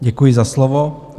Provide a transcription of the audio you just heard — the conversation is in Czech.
Děkuji za slovo.